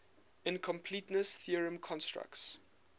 incompleteness theorem constructs